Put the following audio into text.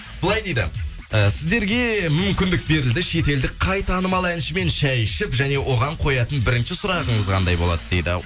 былай дейді і сіздерге мүмкіндік берілді шетелдік қай танымал әншімен шай ішіп және оған қоятын бірінші сұрағыңыз қандай болады дейді